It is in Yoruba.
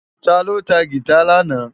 Táló tá gitá làná?